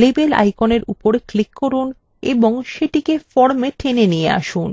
label আইকনের উপর click করুন এবং সেটিকে formwe টেনে নিয়ে আসুন